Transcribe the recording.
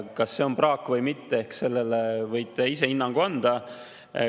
Kas see on praak või mitte, eks sellele võite te ise hinnangu anda.